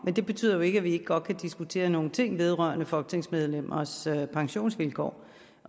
men det betyder jo ikke at vi ikke godt kan diskutere nogle ting vedrørende folketingsmedlemmers pensionsvilkår